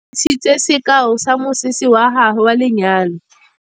Nnake o re bontshitse sekaô sa mosese wa gagwe wa lenyalo.